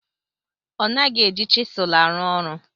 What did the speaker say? Ọ naghị eji chisel arụ ọrụ.